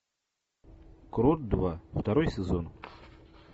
крот два второй сезон